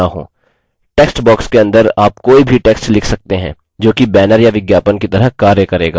text box के अंदर आप कोई भी text लिख सकते हैं जोकि banner या विज्ञापन की तरह कार्य करेगा